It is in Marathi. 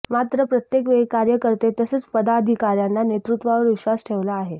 मात्र प्रत्येकवेळी कार्यकर्ते तसंच पदाधिकाऱ्यांनी नेतृत्वावर विश्वास ठेवला आहे